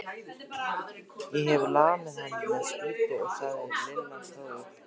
Ég hef lamið hann með spýtu, sagði Lilla hróðug.